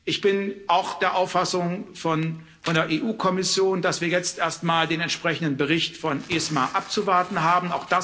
Ich bin auch der Auffassung der EU Kommission, dass wir jetzt erstmal den entsprechenden Bericht von ESMA abzuwarten haben